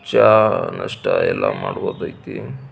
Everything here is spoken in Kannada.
ಚಾ ನಾಸ್ಟಾ ಎಲ್ಲ ಮಾಡಬಹುದು ಆಯ್ತಿ.